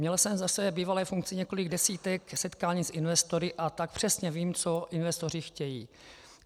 Měl jsem ve své bývalé funkci několik desítek setkání s investory, a tak přesně vím, co investoři chtějí.